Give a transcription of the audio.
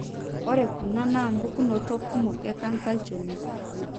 ore kuna na pukunoto kumok ecanser olchoni.